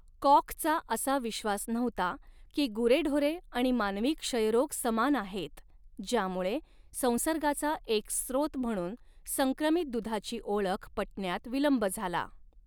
कॉखचा असा विश्वास नव्हता की गुरेढोरे आणि मानवी क्षयरोग समान आहेत, ज्यामुळे संसर्गाचा एक स्त्रोत म्हणून संक्रमित दुधाची ओळख पटण्यात विलंब झाला.